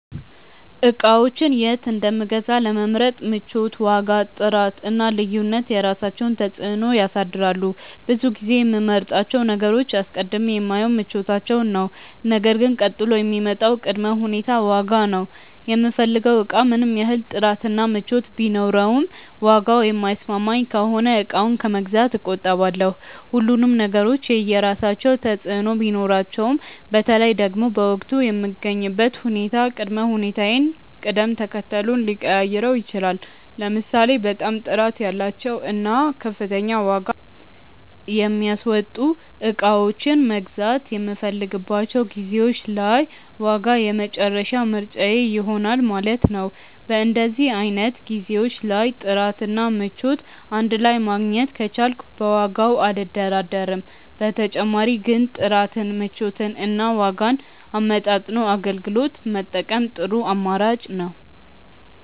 እቃዎችን የት እንደምገዛ ለመምረጥ ምቾት፣ ዋጋ፣ ጥራት እና ልዩነት የራሳቸውን ተፅዕኖ ያሳድራሉ። ብዙ ጊዜ የምመርጣቸውን ነገሮች አስቀድሜ የማየው ምቾታቸውን ነው ነገር ግን ቀጥሎ የሚመጣው ቅድመ ሁኔታ ዋጋ ነው። የምፈልገው እቃ ምንም ያህል ጥራት እና ምቾት ቢኖረውም ዋጋው የማይስማማኝ ከሆነ እቃውን ከመግዛት እቆጠባለሁ። ሁሉም ነገሮች የየራሳቸው ተፅእኖ ቢኖራቸውም በተለይ ደግሞ በወቅቱ የምገኝበት ሁኔታ ቅድመ ሁኔታዬን ቅደም ተከተሉን ሊቀያይረው ይችላል። ለምሳሌ በጣም ጥራት ያላቸውን እና ከፍተኛ ዋጋ የሚያስወጡ እቃዎችን መግዛት የምፈልግባቸው ጊዜዎች ላይ ዋጋ የመጨረሻ ምርጫዬ ይሆናል ማለት ነው። በእንደዚህ አይነት ጊዜዎች ላይ ጥራት እና ምቾት እንድ ላይ ማግኘት ከቻልኩ በዋጋው አልደራደርም። በተጨማሪ ግን ጥራትን፣ ምቾትን እና ዋጋን አመጣጥኖ አገልግሎት መጠቀም ጥሩ አማራጭ ነው።